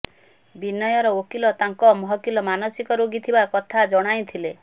ବିନୟର ଓକିଲ ତାଙ୍କ ମହକିଲ ମାନସିକ ରୋଗୀ ଥିବା କଥା ଜଣାଇଥିଲେ